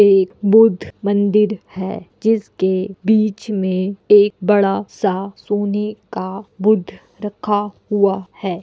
एक बुद्ध मंदिर है जिस के बीच में एक बड़ा-सा सोने का बुद्ध रखा हुआ है।